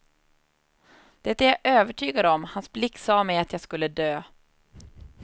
Det är jag övertygad om, hans blick sa mig att jag skulle dö.